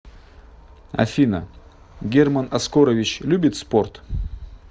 афина герман оскорович любит спорт